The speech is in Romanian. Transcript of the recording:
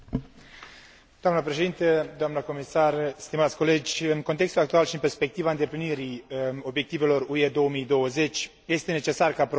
În contextul actual și în perspectiva îndeplinirii obiectivelor UE 2020 este necesar ca Programul cadru 7 să răspundă provocărilor actuale.